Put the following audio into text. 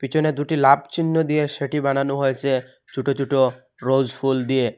পেছনে দুটি লাব চিহ্ন দিয়ে সেটি বানানো হয়েছে ছোট ছোট রোস ফুল দিয়ে।